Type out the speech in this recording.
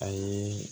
A yeee